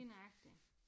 Lige nøjagtig